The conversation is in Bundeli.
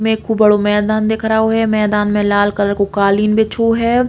मे खूब बड़ो मैंदान दिख रहो है। मैंदान में लाल कलर को कालीन बिछो है।